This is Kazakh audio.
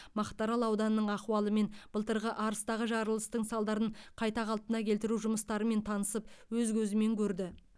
мақтаарал ауданының ахуалымен былтырғы арыстағы жарылыстың салдарын қайта қалпына келтіру жұмыстарымен танысып өз көзімен көрді